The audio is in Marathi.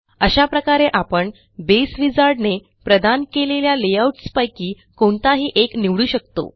अशा प्रकारे आपण बसे विझार्ड ने प्रदान केलेल्या लेआउट्स पैकी कोणताही एक निवडू शकतो